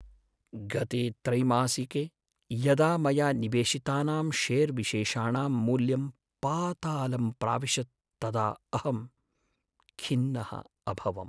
गते त्रैमासिके यदा मया निवेशितानां शेर् विशेषाणां मूल्यं पातालं प्राविशत् तदा अहं खिन्नः अभवम्।